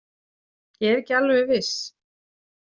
Ég er ekki alveg viss.